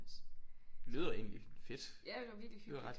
Lyder egentlig fedt lyder ret